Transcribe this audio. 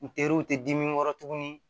N teriw tɛ di dimi kɔrɔ tuguni